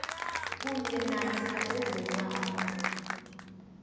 kunye namkha bezeemali